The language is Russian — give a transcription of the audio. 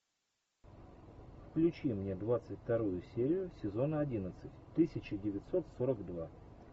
включи мне двадцать вторую серию сезона одиннадцать тысяча девятьсот сорок два